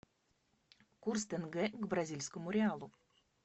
курс тенге к бразильскому реалу